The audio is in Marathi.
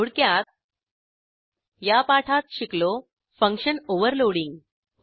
थोडक्यात या पाठात शिकलो फंक्शन ओव्हरलोडिंग